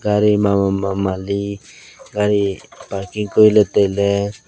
gari mama mamali gari parking koriley tailey.